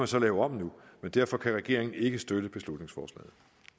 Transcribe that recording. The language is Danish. så lave om nu men derfor kan regeringen ikke støtte beslutningsforslaget